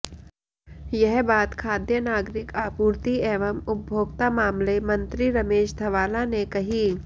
यह बात खाद्य नागरिक आपूर्ति एवं उपभोक्ता मामले मंत्री रमेश धवाला ने कही